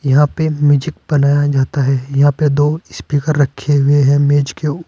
यहां पे म्यूजिक बनाया जाता है यहां पर दो स्पीकर रखें हुए हैं मेज के उ --